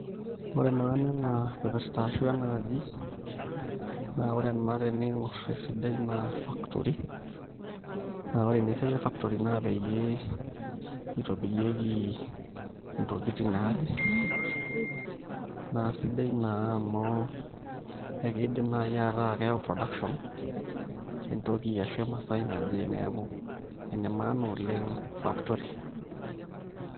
Ore maana ena kipirta ashu ena aji naa ore ena teniing'or esidai naa factory naa ore naa esiai e factory naa peyie itobirieki ntokitin naaje naa sidai naa amu ekiidim naai ataa keyau production entoki ashu emasaai naje neeku ene maana oleng' factory .